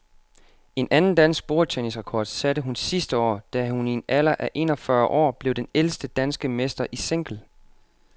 En anden dansk bordtennisrekord satte hun sidste år, da hun i en alder af en og fyrre år blev den ældste danske mester i single.